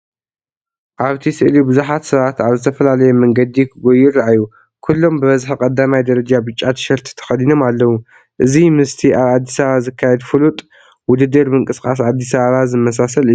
ኣብቲ ስእሊ ብዙሓት ሰባት ኣብ ዝተፈላለየ መንገዲ ክጎዩ ይረኣዩ። ኩሎም ብብዝሒ ቀዳማይ ደረጃ ብጫ ቲሸርት ተኸዲኖም ኣለዉ። እዚ ምስቲ ኣብ ኣዲስ ኣበባ ዝካየድ ፍሉጥ “ውድድር ምንቅስቓስ ኣዲስ ኣበባ” ዝመሳሰል እዩ።